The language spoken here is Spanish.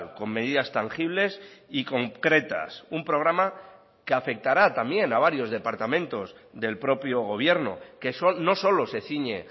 con medidas tangibles y concretas un programa que afectará también a varios departamentos del propio gobierno que no solo se ciñe